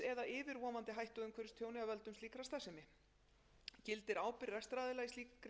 frumvarpsins eða yfirvofandi hættu á umhverfistjóni af völdum slíkrar starfsemi gildir ábyrgð rekstraraðila í slíkri atvinnustarfsemi óháð því